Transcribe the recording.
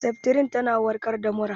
Seftrin tana warkar da mura